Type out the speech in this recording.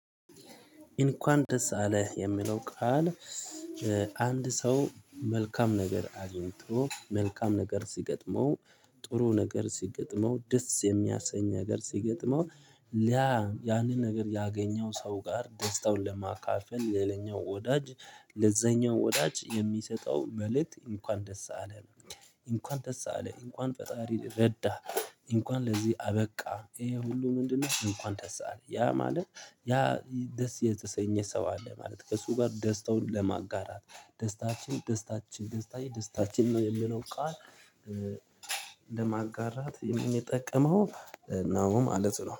እንኳን ደስ አለህ የሚለው ቃል። አንድ ሰው መልካም ነገር አግኝቶ መልካም ነገር ሲገጥመው ጥሩ ነገር ሲገጥመው ደስ የሚያሰኝ ነገር ሲገጥመው ሊያ ያንን ነገር ያገኘው ሰው ጋር ደስታውን ለማካፈል ሌላኛው ወዳጅ ለዛኛው ወዳጅ የሚሰጠው መልእክት እንኳን ደስ አለ። እንኳን ደስ አለህ እንኳን ፈጣሪ ረዳህ። እንኳን ለዚህ አበቃ ይሄ ሁሉ ምንድነው? እንኳን ደስ አለህ ያ ማለት ያ ደስ የተሰኘ ሰው አለ ማለት ከእሱ ጋር ደስታውን ለማጋራት ደስታችን ደስታችን ደስታዬ ደስታችን ነው የሚለው ቃል። ለማጋራት የሚጠቅመው ነው ማለት ነው